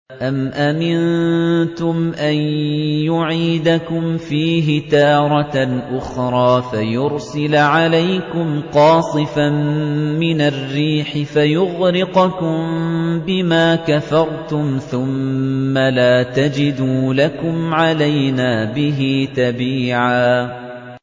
أَمْ أَمِنتُمْ أَن يُعِيدَكُمْ فِيهِ تَارَةً أُخْرَىٰ فَيُرْسِلَ عَلَيْكُمْ قَاصِفًا مِّنَ الرِّيحِ فَيُغْرِقَكُم بِمَا كَفَرْتُمْ ۙ ثُمَّ لَا تَجِدُوا لَكُمْ عَلَيْنَا بِهِ تَبِيعًا